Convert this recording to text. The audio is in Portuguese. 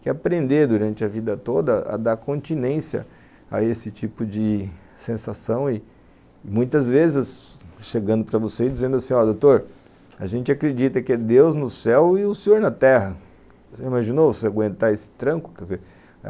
que é aprender durante a vida toda a dar continência a esse tipo de sensação e muitas vezes chegando para você e dizendo assim, ó doutor a gente acredita que é Deus no céu e o senhor na terra você imaginou se aguentar esse tranco? que dizer,